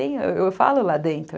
Eu falo lá dentro.